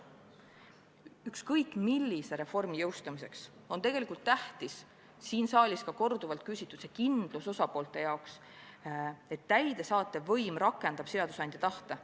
Ükskõik millise reformi jõustamisel on tegelikult tähtis siin saalis korduvalt jutuks olnud osapoolte jaoks väga oluline kindlus, et täidesaatev võim rakendab seadusandja tahte.